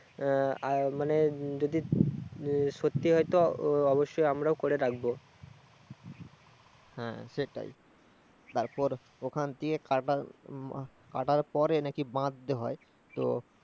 আহ আর মানে, যদি সত্যি হয় তো অবশ্যই আমরা করে থাকবো, হ্যা সেটাই, তারপর ওখান দিয়ে কাটার পরে নাকি বাঁধতে হয়